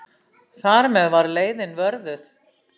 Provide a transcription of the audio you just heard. Þar með var leiðin vörðuð.